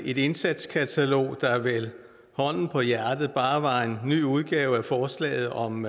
et indsatskatalog der vel hånden på hjertet bare var en ny udgave af forslaget om